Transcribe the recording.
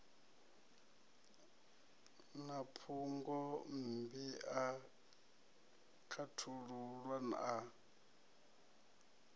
na phungommbi a khethululwa a